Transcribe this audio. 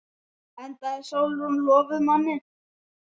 Enda er Sólrún lofuð manni.